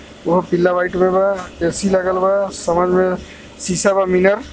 वह पीला व्हाइट में बा ए_सी लागल बा शीशा बा